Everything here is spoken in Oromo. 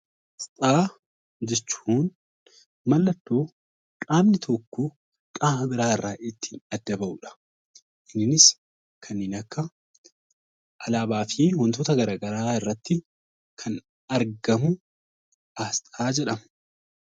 Asxaa jechuun mallattoo qaamni tokko qaama biraa irraa ittiin adda bahu dha. Innis kanneen akka alaabaa fi wantoota gara garaa irratti kan argamu 'Asxaa' jedhama.